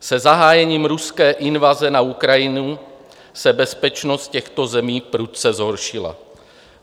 Se zahájením ruské invaze na Ukrajinu se bezpečnost těchto zemí prudce zhoršila.